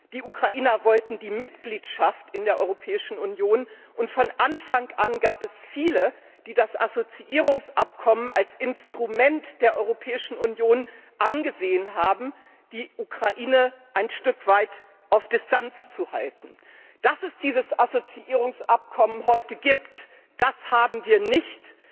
Die Ukrainer wollten die Mitgliedschaft in der Europäischen Union, und von Anfang an gab es viele, die das Assoziierungsabkommen als Instrument der Europäischen Union angesehen haben, die Ukraine ein Stück weit auf Distanz zu halten. Dass es dieses Assoziierungsabkommen heute gibt, das haben wir nicht